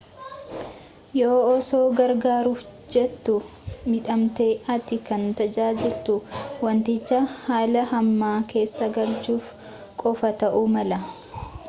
yoo osoo gargaruuf jettu midhaamte ati kan tajaajiltuu wantiichi haala hamaa keessa galchuuf qofa ta'uu mala